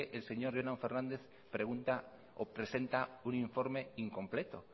el señor jonan fernández pregunta o presenta un informe incompleto